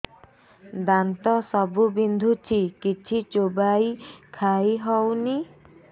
ଦାନ୍ତ ସବୁ ବିନ୍ଧୁଛି କିଛି ଚୋବେଇ ଖାଇ ହଉନି